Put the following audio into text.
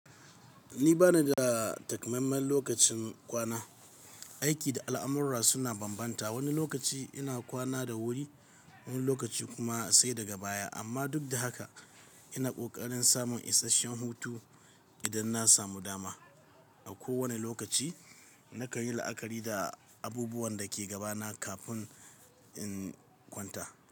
Ni bana da takamaiman lokacin kwana. Aiki da al’amurra suna bambanta. Wani lokaci ina kwana da wuri, wani lokaci kuma sai daga baya, amma duk da haka ina ƙoƙarin samun isasshen hutu idan na samu dama. A kowane lokaci na kan yi la’akari da abubuwan da ke gabana kafin in kwanta.